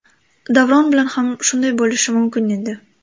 Davron bilan ham shunday bo‘lishi mumkin edi”.